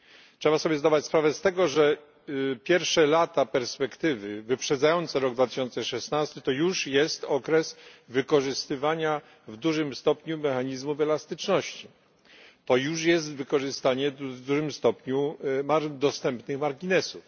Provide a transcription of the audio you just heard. Trzeba sobie zdawać sprawę z tego, że pierwsze lata perspektywy wyprzedzające rok 2016 to już jest okres wykorzystywania w dużym stopniu mechanizmów elastyczności, to już jest wykorzystanie w dużym stopniu dostępnych marginesów.